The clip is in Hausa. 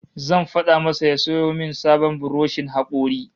Zan fada masa ya sayo min sabon buroshin hakori